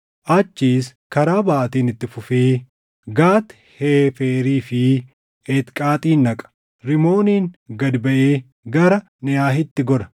Achiis karaa baʼaatiin itti fufee Gat Heeferii fi Eetqaaxin dhaqa; Rimooniin gad baʼee gara Neʼaahitti gora.